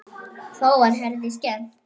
Þá var Herði skemmt.